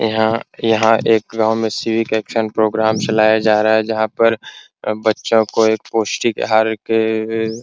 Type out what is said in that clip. यहां यहां एक गांव में शिविर प्रोग्राम चलाया जा रहा है जहां पर बच्चों को एक पोष्टिक आहार के ए ए --